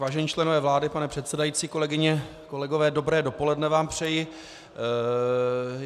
Vážení členové vlády, pane předsedající, kolegyně, kolegové, dobré dopoledne vám přeji.